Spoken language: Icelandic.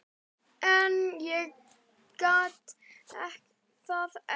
En ég get það ekki.